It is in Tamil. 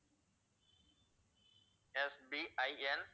SBIN